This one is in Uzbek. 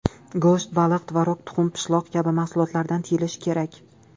Go‘sht, baliq, tvorog, tuxum, pishloq kabi mahsulotlardan tiyilish kerak.